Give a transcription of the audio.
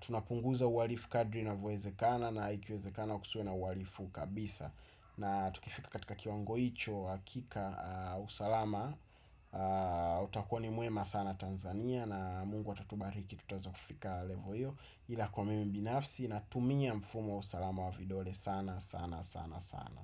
tunapunguza uharifu kadri inavyowezekana. Na ikiwezekana kusiwe na uharifu kabisa. Na tukifika katika kiwango hicho. Akika usalama utakua ni mwema sana Tanzania. Na mungu atatubariki tutaweza kufika levo iyo. Ila kwa mimi binafsi natumia mfumo wa usalama wa vidole sana sana sana sana.